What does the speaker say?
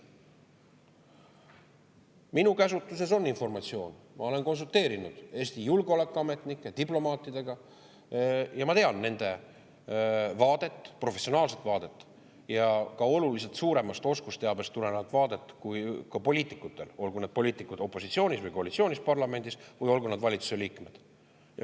Minu käsutuses on informatsioon, ma olen konsulteerinud Eesti julgeolekuametnike ja diplomaatidega ning tean nende vaadet, professionaalset vaadet ja ka oluliselt suuremast oskusteabest tulenevat vaadet, kui on poliitikutel, olgu need poliitikud parlamendis opositsioonis või koalitsioonis või olgu nad valitsuse liikmed.